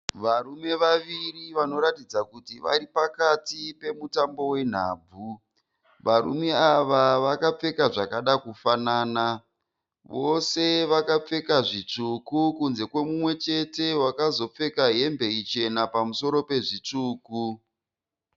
Varume vaviri vanoratidza kuti varipakati pemutambo wenhabvu, varume ava vakapfeka zvakada kufanana, vese vakapfeka zvitsvuku, kunze kwemumwechete akapfeka hembe ichena pamusoro pezvitavuku.